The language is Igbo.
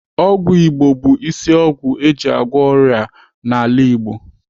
Ọgwụ Igbo bụ isi ọgwụ eji agwọ onye ọrịa n'ala Igbo.